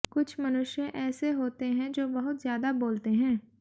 कुछ मनुष्य ऐसे होते हैं जो बहुत ज्यादा बोलते हैं